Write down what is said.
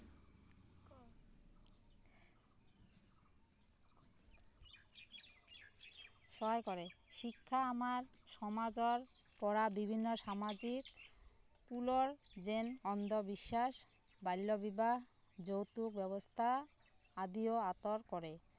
সহায় কৰে শিক্ষা আমাৰ সমাজৰ পৰা বিভিন্ন সামাজিক পুলৰ যেন অন্ধ বিশ্বাস বাল্য বিবাহ যৌতুক ব্যৱস্থা আদিও আঁতৰ কৰে